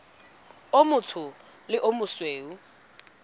o motsho le o mosweu